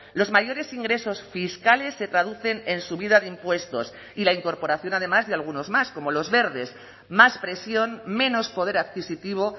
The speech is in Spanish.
los mayores ingresos fiscales se traducen en subida de impuestos y la incorporación además de algunos más como los verdes más presión menos poder adquisitivo